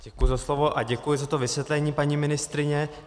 Děkuji za slovo a děkuji za to vysvětlení, paní ministryně.